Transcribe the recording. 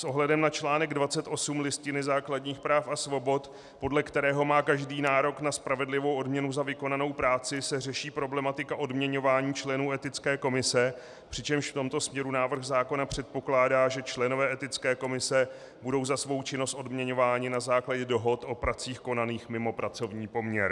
S ohledem na článek 28 Listiny základních práv a svobod, podle kterého má každý nárok na spravedlivou odměnu za vykonanou práci, se řeší problematika odměňování členů Etické komise, přičemž v tomto směru návrh zákona předpokládá, že členové Etické komise budou za svou činnost odměňováni na základě dohod o pracích konaných mimo pracovní poměr.